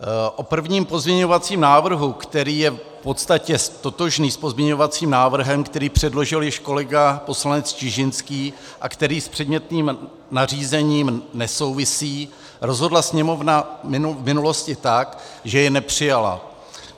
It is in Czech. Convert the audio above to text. O prvním pozměňovacím návrhu, který je v podstatě totožný s pozměňovacím návrhem, který předložil již kolega poslanec Čižinský a který s předmětným nařízením nesouvisí, rozhodla Sněmovna v minulosti tak, že jej nepřijala.